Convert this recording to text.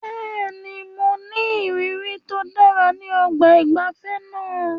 Bẹ́ẹ̀ni, mo ní ìrírí tó dára ní ọgbà ìgbafẹ́ náà.